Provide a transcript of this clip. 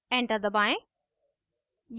enter दबाएं